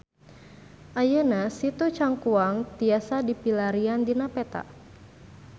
Ayeuna Situ Cangkuang tiasa dipilarian dina peta